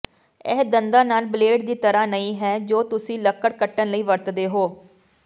ਇਹ ਦੰਦਾਂ ਨਾਲ ਬਲੇਡ ਦੀ ਤਰ੍ਹਾਂ ਨਹੀਂ ਹੈ ਜੋ ਤੁਸੀਂ ਲੱਕੜ ਕੱਟਣ ਲਈ ਵਰਤਦੇ ਹੋ